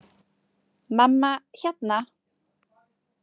Mamma, hérna.